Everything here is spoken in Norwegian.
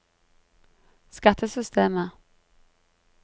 skattesystemet